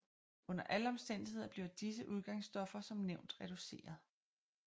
Under alle omstændigheder bliver disse udgangsstoffer som nævnt reduceret